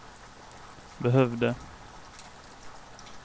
behövde